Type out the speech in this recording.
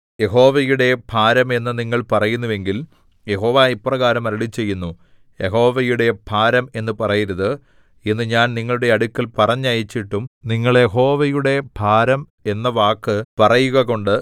യഹോവയുടെ ഭാരം എന്നു നിങ്ങൾ പറയുന്നുവെങ്കിൽ യഹോവ ഇപ്രകാരം അരുളിച്ചെയ്യുന്നു യഹോവയുടെ ഭാരം എന്നു പറയരുത് എന്ന് ഞാൻ നിങ്ങളുടെ അടുക്കൽ പറഞ്ഞയച്ചിട്ടും നിങ്ങൾ യഹോവയുടെ ഭാരം എന്ന വാക്കു പറയുകകൊണ്ട്